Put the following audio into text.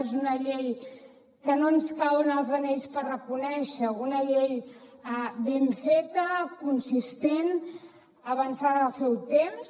és una llei que no ens cauen els anells per reconèixer ho una llei ben feta consistent avançada al seu temps